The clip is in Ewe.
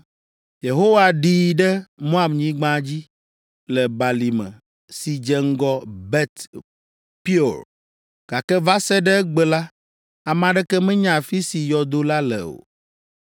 Yehowa ɖii ɖe Moabnyigba dzi, le balime si dze ŋgɔ Bet Peor, gake va se ɖe egbe la, ame aɖeke menya afi si yɔdo la le o.